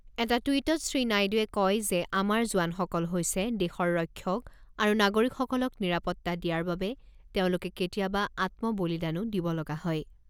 এটা টুইটত শ্ৰীনাইডুৱে কয় যে আমাৰ জোৱানসকল হৈছে দেশৰ ৰক্ষক আৰু নাগৰিকসকলক নিৰাপত্তা দিয়াৰ বাবে তেওঁলোকে কেতিয়াবা আত্ম বলিদানো দিব লগা হয়।